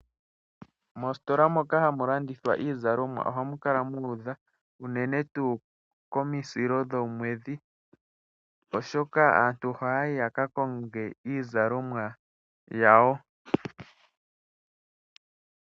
Moositola moka hamu landithwa iizalomwa ohamu kala mu udha, unene tuu komisilo dhomwedhi oshoka aantu ohaya yi yaka konge iizalomwa yawo.